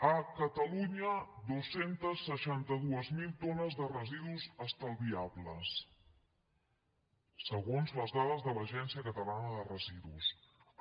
a catalunya dos cents i seixanta dos mil tones de residus estalviables segons les dades de l’agència de residus de catalunya